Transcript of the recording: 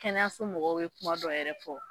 Kɛnɛyaso mɔgɔw bɛ kuma dɔ yɛrɛ fɔ